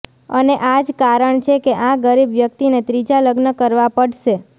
અને આજ કારણ છે કે આ ગરીબ વ્યક્તિને ત્રીજા લગ્ન કરવા પડશે